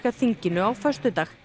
þinginu á föstudag